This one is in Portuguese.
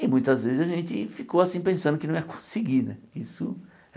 E muitas vezes a gente ficou assim pensando que não ia conseguir né isso.